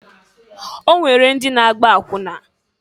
O nwere ndi na-agba akwụna.